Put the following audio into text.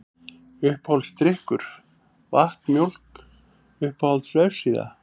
Uppáhaldsdrykkur: Vatn, Mjólk Uppáhalds vefsíða?